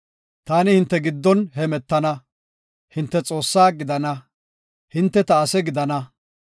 Taani hinte giddon hemetana; hinte Xoossaa gidana; hinte ta ase gidana.